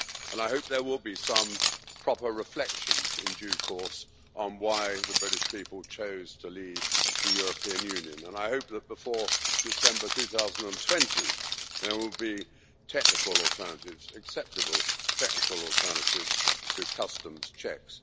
I hope there will be some proper reflection in due course on why the British people chose to leave the European Union and I hope that before December 2020 there will be technical alternatives acceptable, technical alternatives to customs checks.